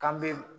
K'an be